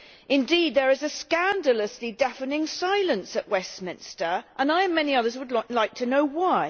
Indeed there is a scandalously deafening silence at Westminster and I and many others would like to know why.